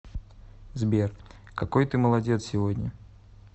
сбер какой ты молодец сегодня